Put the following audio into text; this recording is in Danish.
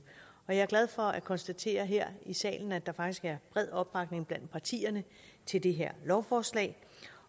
jeg er glad for at konstatere her i salen at der faktisk er bred opbakning blandt partierne til det her lovforslag